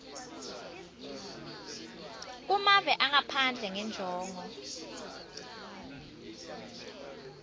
kumave angaphandle ngenjongo